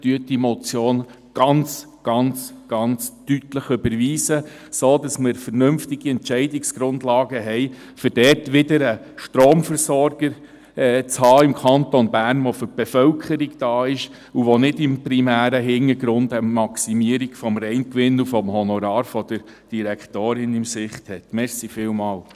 Überweisen Sie diese Motion ganz, ganz, ganz deutlich, damit wir vernünftige Entscheidungsgrundlagen haben, um dort wieder einen Stromversorger im Kanton Bern zu haben, der für die Bevölkerung da ist und nicht im primären Hintergrund eine Maximierung des Reingewinns und des Honorars der Direktorin im Sinn hat.